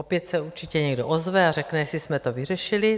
Opět se určitě někdo ozve a řekne, jestli jsme to vyřešili.